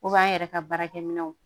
an yɛrɛ ka baarakɛ minɛnw